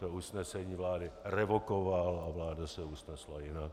To usnesení vlády revokoval a vláda se usnesla jinak.